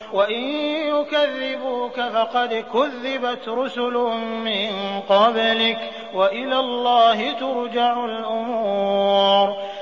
وَإِن يُكَذِّبُوكَ فَقَدْ كُذِّبَتْ رُسُلٌ مِّن قَبْلِكَ ۚ وَإِلَى اللَّهِ تُرْجَعُ الْأُمُورُ